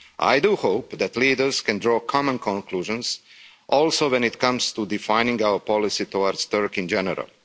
I do hope that leaders can draw common conclusions, also when it comes to defining our policy towards Turkey in general.